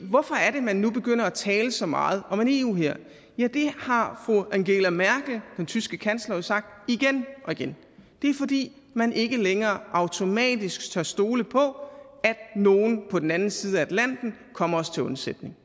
hvorfor er det man nu begynder at tale så meget om en eu hær ja det har fru angela merkel den tyske kansler jo sagt igen og igen det er fordi man ikke længere automatisk tør stole på at nogen på den anden side af atlanten kommer os til undsætning